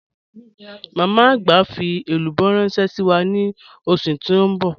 Ìyá agbà n fi èlúbọ̀ ránṣẹ̀ sí wa ni ọṣù tí n bọ̀.